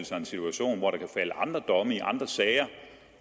sig en situation hvor der kan falde andre domme i andre sager